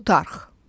Plutarx.